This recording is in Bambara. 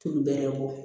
Tun bɛ bɔ